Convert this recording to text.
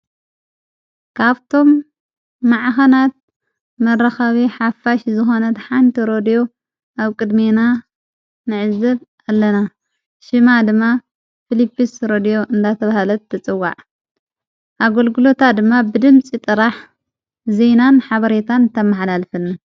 ካብቶም ማዕኸናት መረኻቤ ሓፋሽ ዝኮነት ሓንቲ ሮድዮ ኣብ ቅድሜና ንዕዘብ ኣለና ሽማ ድማ ፊልጵስ ሮድዮ እንዳተብሃለት ተጽዋዕ ኣጐልግሎታ ድማ ብድምፂ ጥራሕ ዘይናን ሓበሬታን ተመኃላልፍ::